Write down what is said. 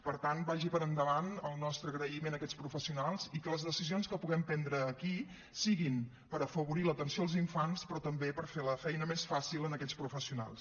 per tant vaig per endavant el nostre agraïment a aquests professionals i que les decisions que puguem prendre aquí siguin per afavorir l’atenció als infants però també per fer la feina més fàcil a aquests professionals